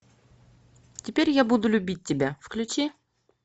теперь я буду любить тебя включи